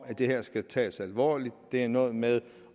at det her skal tages alvorligt og det er noget med